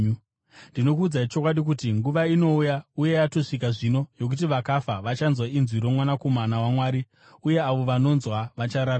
Ndinokuudzai chokwadi kuti, nguva inouya uye yatosvika zvino yokuti vakafa vachanzwa inzwi roMwanakomana waMwari uye avo vanonzwa vachararama.